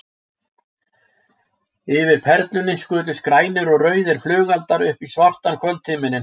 Yfir Perlunni skutust grænir og rauðir flugeldar upp í svartan kvöldhimininn.